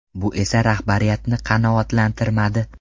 Bu esa rahbariyatni qanoatlantirmadi.